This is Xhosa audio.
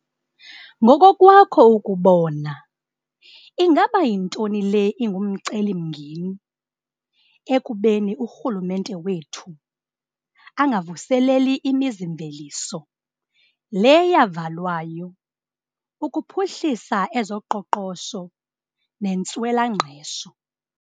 Ngokokwakho ukubona, ingaba yintoni le ingumcelimngeni ekubeni urhulumente wethu angavuseleli imizimveliso le yavalwayo ukuphuhlisa ezoqoqosho nentswelangqesho?